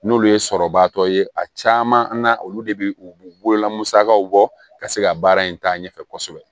N'olu ye sɔrɔbatɔ ye a caman na olu de bɛ u bolola musakaw bɔ ka se ka baara in taa ɲɛfɛ kosɛbɛ